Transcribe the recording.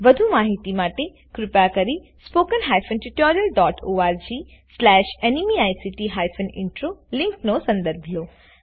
વધુ માહીતી માટે કૃપા કરી httpspoken tutorialorgNMEICT Intro લીંકનો સંદર્ભ લો